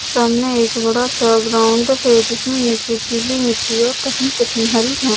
सामने एक बड़ा सा ग्राउंड है जिसमें नीचे पीली मिट्टी और कहीं कहीं हरि घा--